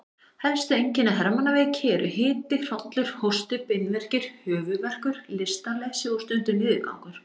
Helstu einkenni hermannaveiki eru hiti, hrollur, hósti, beinverkir, höfuðverkur, lystarleysi og stundum niðurgangur.